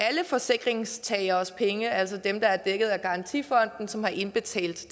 forsikringstageres penge altså dem der er dækket af garantifonden og som har indbetalt til